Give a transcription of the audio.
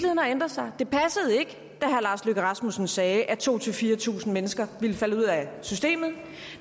har ændret sig det passede ikke da herre lars løkke rasmussen sagde at to tusind fire tusind mennesker ville falde ud af systemet